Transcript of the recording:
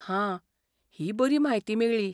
हां, ही बरी म्हायती मेळ्ळी.